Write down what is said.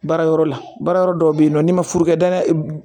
Baara yɔrɔ la baara yɔrɔ dɔw bɛ yen nɔ n'i ma furukɛ dan dɛ